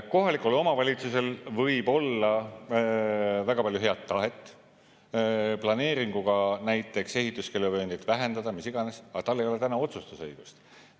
Kohalikul omavalitsusel võib olla väga palju head tahet planeeringuga näiteks ehituskeeluvööndit vähendada, mis iganes, aga tal ei ole täna otsustusõigust.